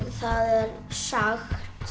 það er sagt